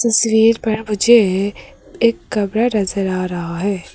तस्वीर पर मुझे एक कमरा नजर आ रहा है।